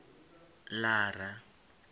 lara